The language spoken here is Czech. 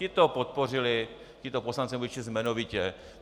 Ti to podpořili, tito poslanci, nebudu je číst jmenovitě.